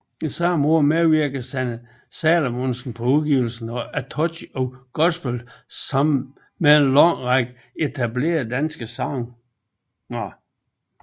Samme år medvirkede Sanne Salomonsen på udgivelsen A Touch of Gospel sammen med en lang række etablerede danske sangere